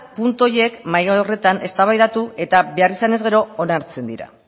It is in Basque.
puntu horiek mahai horretan eztabaidatu eta behar izanez gero onartzen dira